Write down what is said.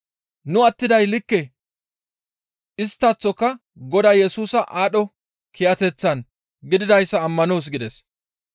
Nu attiday likke isttaththoka Godaa Yesusa aadho kiyateththan gididayssa ammanoos» gides.